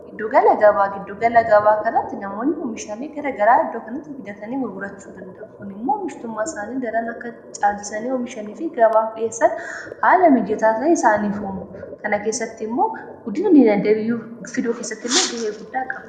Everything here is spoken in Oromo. Giddugala gaabaa, giddugala gabaa kanarratti namoonni oomishaalee gara garaa iddoo kanatti fidatanii gurgurachuu danda'u. kun immoo oomishtummaa isaanii daran akka caalsanii oomishanii fi gabaa dhiheessani haala mijataasaa isaaniif uumu kana keessatti immoo guddinunii daddafee i fiduu kessatti immoo ga'ee guddaa qabu.